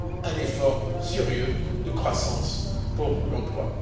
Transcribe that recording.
un effort sérieux de croissance pour l'emploi.